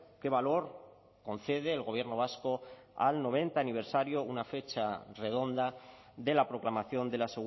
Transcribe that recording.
qué valor concede el gobierno vasco al noventa aniversario una fecha redonda de la proclamación de la